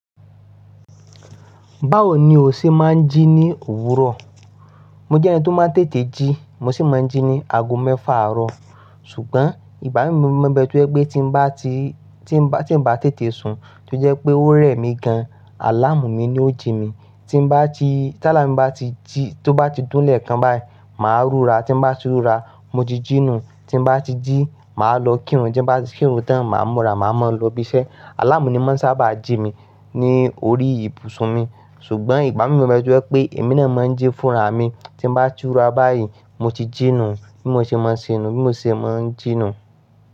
Báwo ni o ṣe máa ń jí ní òwúrọ̀? Mo jẹ́ ẹni tó máa ń tètè jí, mo sì máa ń jí ní ago mẹ́fà àárọ̀. Ṣùgbọ́n, ìgbà mí mu mọ̀ pé tí mo bá ti, tí mo bá, tí mo bá tètè sùn, tó jẹ́ pé ó rẹ̀ mí gan, àláàmù mi ni ó jí mi. Tí bá ti, táláà mi bá ti jí, tó bá ti dún lẹ̀ kan báyìí, màá rura. Tí mo bá ti rura, mo ti jínà. Tí mo bá ti jí, màá lọ kírun. Tí mo bá kírun tán, màá múra, màá mọ́ lọ bísẹ́. Àláàmù ni ó máa ń sábà jí mi lórí ibùsùn mi. Ṣùgbọ́n ìgbà mí mu mọ̀ pé èmi náà máa ń jí fúnra mi. Tí mo bá ti rura báyìí, mo ti jínà bí mo ṣe máa ń ṣe inú, bí mo ṣe máa ń jínà.